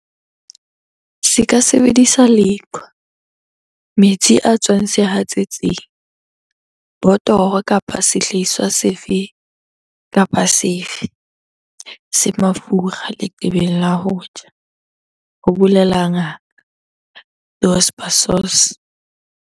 Se ka sebedisa leqhwa, metsi a tswang sehatsetsing, botoro kapa sehlahiswa sefe kapa sefe se mafura leqebeng la ho tjha, ho bolela Ngaka Dos Passos.